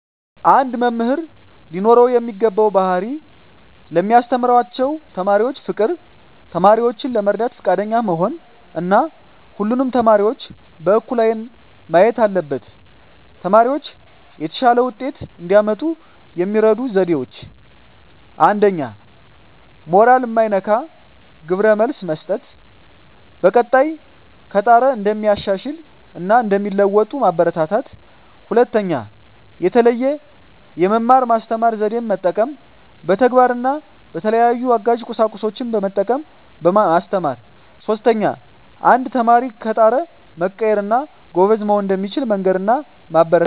አንድ መምህር ሊኖረው የሚገባው ባህሪ ለሚያስተምራቸው ተማሪዎች ፍቅር፣ ተማሪዎችን ለመርዳት ፈቃደኛ መሆን እና ሁሉንም ተማሪዎች በእኩል አይን ማየት አለበት። ተማሪዎች የተሻለ ውጤት እንዲያመጡ የሚረዱ ዜዴዎች 1ኛ. ሞራል ማይነካ ግብረ መልስ መስጠት፣ በቀጣይ ከጣረ እንደሚሻሻል እና እንደሚለዎጡ ማበራታታት። 2ኛ. የተለየ የመማር ማስተማር ዜዴን መጠቀም፣ በተግባር እና በተለያዩ አጋዥ ቁሳቁሶችን በመጠቀም ማስተማር። 3ኛ. አንድ ተማሪ ከጣረ መቀየር እና ጎበዝ መሆን እንደሚችል መንገር እና ማበረታታት።